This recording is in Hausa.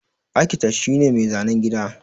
Akitet shi ne mai zanan gini.